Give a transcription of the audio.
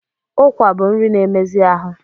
Ụkwa bụ nri na-emezi ahụ.